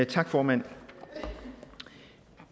tak formand